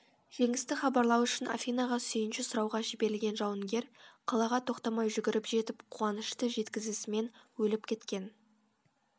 жеңісті хабарлау үшін афинаға сүйінші сұрауға жіберілген жауынгер қалаға тоқтамай жүгіріп жетіп қуанышты жеткізісімен өліп кеткен